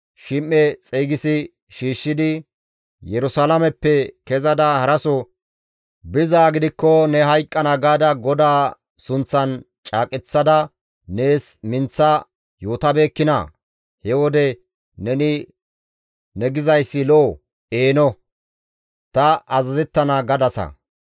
Shim7e xeygisi shiishshidi, « ‹Yerusalaameppe kezada haraso bizaa gidikko ne hayqqana› gaada GODAA sunththan caaqeththada nees minththa yootabeekkinaa? He wode neni, ‹Ne gizayssi lo7o; eeno, ta azazettana› gadasa.